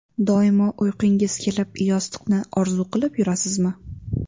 Doimo uyqungiz kelib, yostiqni orzu qilib yurasizmi?